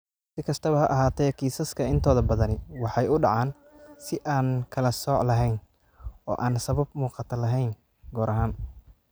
Si kastaba ha ahaatee, kiisaska intooda badani waxay u dhacaan si aan kala sooc lahayn oo aan sabab muuqata lahayn (goor ahaan).